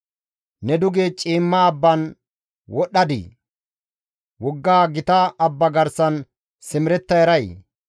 «Ne duge ciimma abban wodhdhadii? Wogga gita abba garsan simeretta eray?